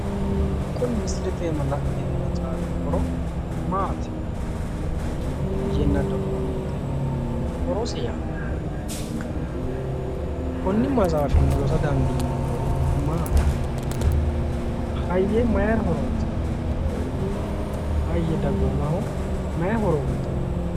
Kuni misilete aana la'neemmo maxaafi horo maati? Hayyenna dagoomitte horose yaannoha ikkanna konni maxaafinni rosa dandiineemmori maati? Hayye mayira horoonsi'nanni? Hayye dagoomaho mayi horo uyitanno?